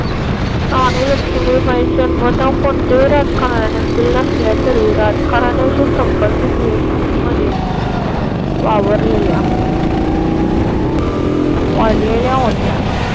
राणी लक्ष्मीबाई जन्मता कोणत्याही राजघराण्यांतील नसल्या तरीही राजकारणाशी संबंधित व्यक्तींमध्ये वावरलेल्या वाढलेल्या होत्या.